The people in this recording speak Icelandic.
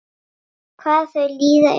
Hvað þau líða eru þau?